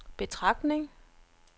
betragtning